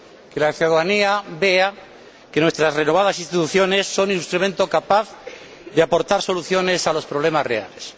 Que la ciudadanía vea que nuestras renovadas instituciones son un instrumento capaz de aportar soluciones a los problemas reales.